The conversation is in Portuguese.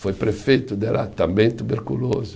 Foi prefeito de lá, também tuberculoso.